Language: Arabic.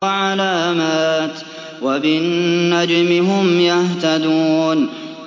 وَعَلَامَاتٍ ۚ وَبِالنَّجْمِ هُمْ يَهْتَدُونَ